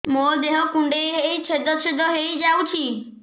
ମୋ ଦେହ କୁଣ୍ଡେଇ ହେଇ ଛେଦ ଛେଦ ହେଇ ଯାଉଛି